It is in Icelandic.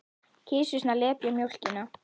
Kisurnar lepja mjólkina.